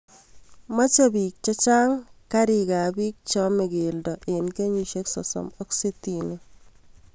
Mache piik chechang' karik ab pik che ame keldo eng' kenyishek sosom ak sitini